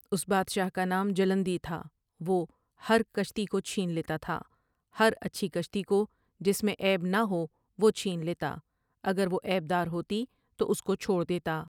اس بادشاہ کا نام جلندی تھا وہ ہر کشتی کو چھین لیتا تھا ہرا چھی کشتی کو جس میں عیب نہ ہو وہ چھین لیتا اگر وہ عیب دار ہوتی تو اس کو چھوڑ دیتا۔